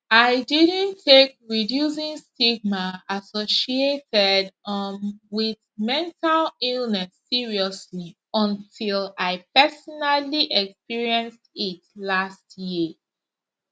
i didnt take reducing stigma associated um wit mental illness seriously until i personally experienced it last year